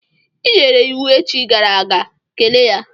I nyere iwu echi gara aga, kelee ya!